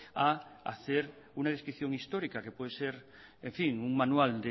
a hacer una descripción histórica que puede ser un manual